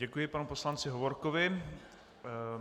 Děkuji panu poslanci Hovorkovi.